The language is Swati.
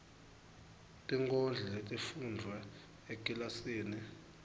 tinkondlo letifundvwe ekilasini